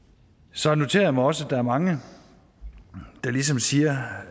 så noterer jeg mig også at der er mange der ligesom siger